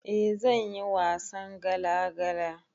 Eh zanyi wasan gala gala